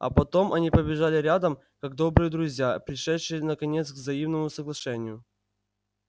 а потом они побежали рядом как добрые друзья пришедшие наконец к взаимному соглашению